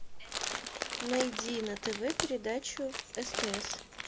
найди на тв передачу стс